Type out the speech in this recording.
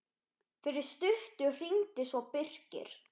Fyrir stuttu hringdi svo Birkir.